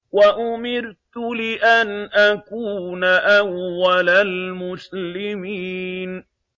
وَأُمِرْتُ لِأَنْ أَكُونَ أَوَّلَ الْمُسْلِمِينَ